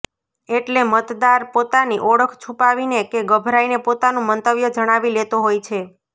એટલે મતદાર પોતાની ઓળખ છુપાવીને કે ગભરાઈને પોતાનું મંતવ્ય જણાવી લેતો હોય છે